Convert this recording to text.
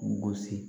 U gosi